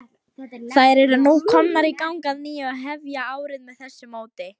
Þær eru nú komnar í gang að nýju og hefja árið með þessu móti.